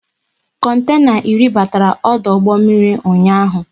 Kontena iri batara ọdụ ụgbọ mmiri ụnyaahụ